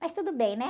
Mas tudo bem, né?